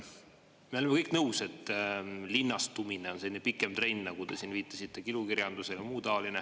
Me oleme kõik nõus, et linnastumine on selline pikem trend, nagu te siin viitasite ilukirjandusele, ja muu taoline.